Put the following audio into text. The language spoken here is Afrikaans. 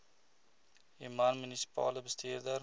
human munisipale bestuurder